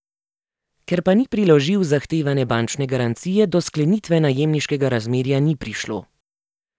Ker pa ni priložil zahtevane bančne garancije, do sklenitve najemniškega razmerja ni prišlo.